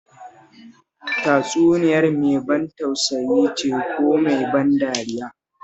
Tatsuniyar mai ban tausayi ce ko mai ban dariya?